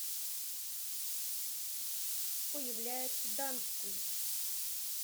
появляется данстон